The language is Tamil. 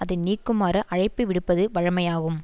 அதை நீக்குமாறு அழைப்பு விடுப்பது வழமையாகும்